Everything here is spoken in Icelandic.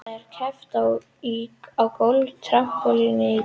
Þar er keppt á gólfi, trampólíni og dýnu.